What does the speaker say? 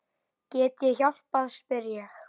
Get ég hjálpað spyr ég.